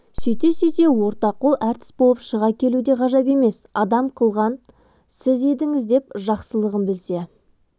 сөйте-сөйте ортақол әртіс болып шыға келу де ғажап емес адам қылған сіз едіңіз деп жақсылығын білсе